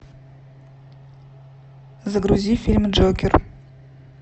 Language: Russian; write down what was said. загрузи фильм джокер